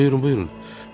Buyurun, buyurun.